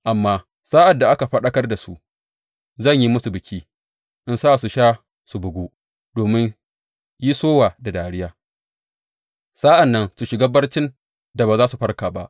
Amma sa’ad da aka farkar da su, zan yi musu biki in sa su sha su bugu, domin yi sowa da dariya, sa’an nan su shiga barcin da ba za su farka ba,